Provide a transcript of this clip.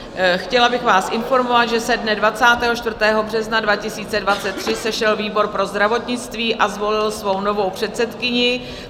Chtěla bych vás informovat, že se dne 24. března 2023 sešel výbor pro zdravotnictví a zvolil svou novou předsedkyni.